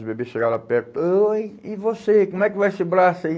Os bebês chegava lá perto, oi, e você, como é que vai esse braço aí?